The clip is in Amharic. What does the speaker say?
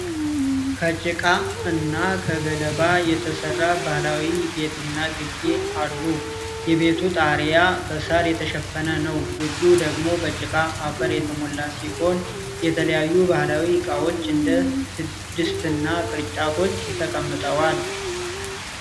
ከጭቃ እና ከገለባ የተሠራ ባህላዊ ቤትና ግቢ አሉ። የቤቱ ጣሪያ በሳር የተሸፈነ ነው። ግቢው ደግሞ በጭቃ አፈር የተሞላ ሲሆን፣ የተለያዩ ባህላዊ ዕቃዎች እንደ ድስትና ቅርጫቶች ተቀምጠዋል። (